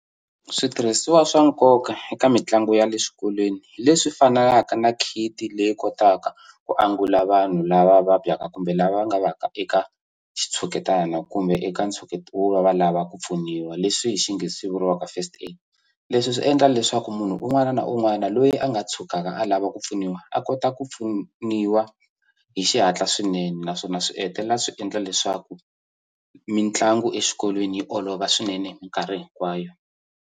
Switirhisiwa swa nkoka eka mitlangu ya le xikolweni hi leswi fanaka na kit leyi kotaka ku angula vanhu lava vabyaka kumbe lava nga va ka eka xitshuketana kumbe eka ntsheketo wo va va lava ku pfuniwa leswi hi xinghezi swi vuriwaka first aid leswi swi endla leswaku munhu un'wana na un'wana loyi a nga tshukaka a lava ku pfuniwa a kota ku pfuniwa hi xihatla swinene naswona swi hetelela swi endla leswaku mitlangu exikolweni yi olova swinene hi minkarhi hinkwayo.